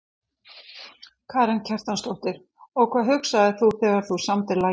Karen Kjartansdóttir: Og hvað hugsaðir þú þegar þú samdir lagið?